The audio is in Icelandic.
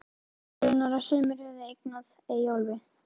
Ég vissi raunar að sumir höfðu eignað Eyjólfi